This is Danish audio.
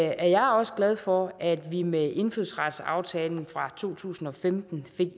at jeg også glad for at vi med indfødsretsaftalen fra to tusind og femten